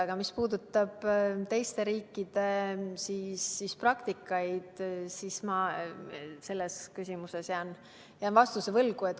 Aga mis puudutab teiste riikide praktikat, siis selles küsimuses jään ma vastuse võlgu.